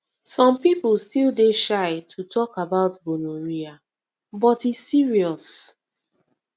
some people still dey shy to talk about gonorrhea but e serious